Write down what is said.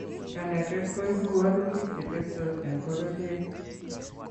Kanetet koipu walutik che teptos eng bororiet